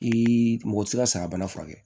I mɔgɔ ti se ka saga bana furakɛ